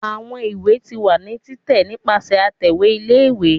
awọn ìwé ti wa ni titẹ nipasẹ atẹwe ìlé-ìwé